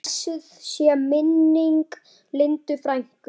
Blessuð sé minning Lindu frænku.